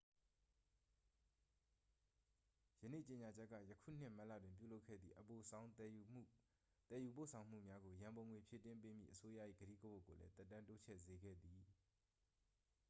ယနေ့ကြေညာချက်က ယခုနှစ် မတ်လတွင် ပြုလုပ်ခဲ့သည့် အပိုဆောင်းသယ်ယူပို့ဆောင်မှုများကို ရန်ပုံငွေဖြည့်တင်းပေးမည့် အစိုးရ၏ ကတိကဝတ်ကိုလည်း သက်တမ်းတိုးချဲ့စေခဲ့သည်